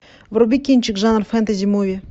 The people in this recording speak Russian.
вруби кинчик жанр фэнтези муви